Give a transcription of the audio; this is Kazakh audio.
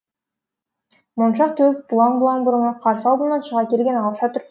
моншақ төгіп бұлаң бұлаң бұрымы қарсы алдымнан шыға келген алша түр